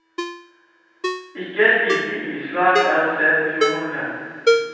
Ikke et lite isflak er å se på fjorden en gang.